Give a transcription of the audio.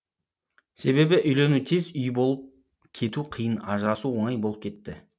себебі үйлену тез үй болып кету қиын ажырасу оңай болып кетті